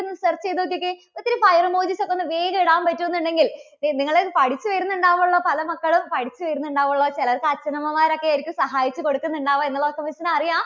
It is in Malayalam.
ഒന്ന് search ചെയ്ത് നോക്കിയേ. ഒത്തിരി file emojis ഒക്കെ വേഗം ഇടാൻ പറ്റുമെന്നുണ്ടെങ്കിൽ നിങ്ങള് പഠിച്ചു വരുന്നുണ്ടാകുമല്ലോ പല മക്കളും പഠിച്ചു വരുന്നുണ്ടാകുമല്ലോ. ചില മക്കൾക്ക് അച്ഛനമ്മമാരൊക്കെയായിരിക്കും സഹായിച്ചു കൊടുക്കുന്നുണ്ടാവുക എന്നുള്ളതൊക്കെ miss നറിയാം.